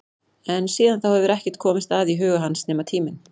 En síðan þá hefur ekkert komist að í huga hans nema tíminn.